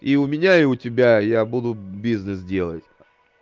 и у меня и у тебя я буду бизнес делать